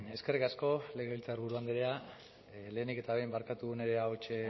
eskerrik asko legebiltzarburu andrea lehenik eta behin barkatu nire ahots